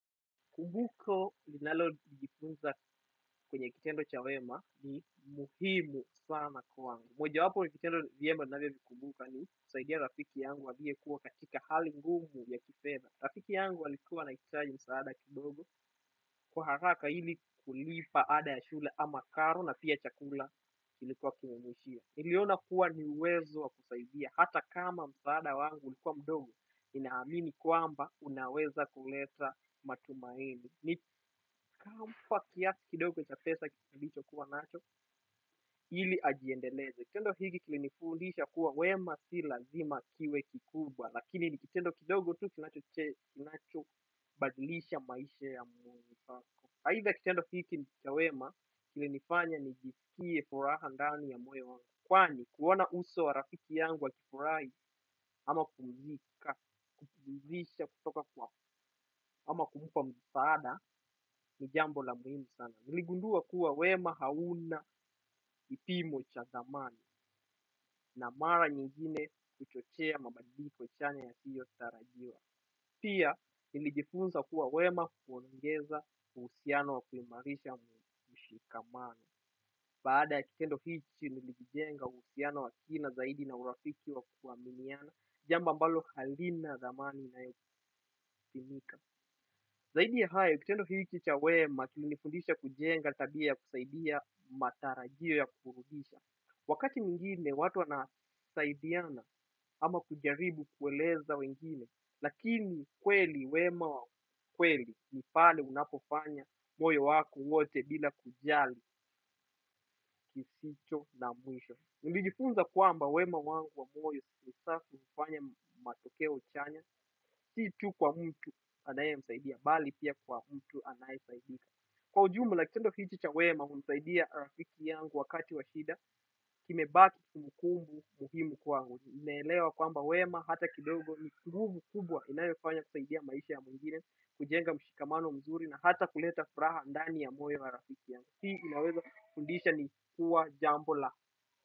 Kubuko linalo jipunza kwenye kitendo cha wema ni muhimu sana kwangu. Moja wapo ya kitendo viema nadhani vikubuka ni kusaidia rafiki yangu aliye kuwa katika hali ngumu ya kifedha. Rafiki yangu alikuwa anahitaji msaada kidogo kwa haraka ili kulipa ada ya shula ama karo na pia chakula ilikuwa kimemuishia. Niliona kuwa ni uwezo wa kusaidia hata kama msaada wangu ulikuwa mdogo ninahamini kwamba unaweza kuleta matumaini. Ni kampa kiasi kidogo cha pesa nilicho kuwa nacho. Hili ajiendeleze. Kitendo hili kili nifundisha kuwa wema si lazima kiwe kikubwa. Lakini ni kitendo kidogo tu kinacho badilisha maisha ya muwewako. Haidha kitendo hiki ni cha wema. Kili nifanya nijiskiye furaha ndani ya moyo wangu. Kwani kuona uso wa rafiki yangu akifurahi ama kumuzika, kukudisha kutoka kwa ama kumpa msaada. Ni jambo la muhimu sana. Niligundua kuwa wema hauna kipimo cha dhamani na mara nyingine kuchochea mabadiliko chanya yasiyo tarajiwa. Pia, nilijifunza kuwa wema kuongeza uhusiano wa kuimarisha mshikamano. Baada ya kitendo hichi nilijenga uhusiano wa kina zaidi na urafiki wa kuaminiana jambo ambalo halina dhamani inayo pimika. Zaidi ya hayo kitendo hiki cha wema, kilinifundisha kujenga tabia ya kusaidia matarajio ya kurudisha. Wakati mwingine, watu wanasaidiana ama kujaribu kueleza wengine, lakini kweli wema wa kweli ni pale unapofanya moyo wako wote bila kujali kisicho na mwisho. Nilijifunza kwamba wema wangu wa moyo sasa kufanya matokeo chanya, si tu kwa mtu anaye msaidia, bali pia kwa mtu anayesaidika. Kwa ujumula kitendo hichi cha wema, humsaidia rafiki yangu wakati wa shida, kimebaki kumbukumbu muhimu kwa angu. Nimelewa kwamba wema, hata kidogo ni nguvu kubwa inayo kufanya kusaidia maisha ya mwingine, kujenga mshikamano mzuri na hata kuleta furaha ndani ya moyo wa rafiki yangu. Hii inaweza kufundisha ni kuwa jambo la.